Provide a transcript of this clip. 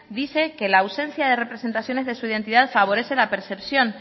dice que la ausencia de representaciones de su identidad favorece la percepción